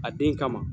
A den kama